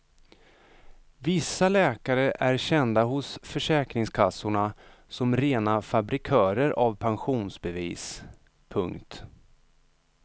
Vissa läkare är kända hos försäkringskassorna som rena fabrikörer av pensionsbevis. punkt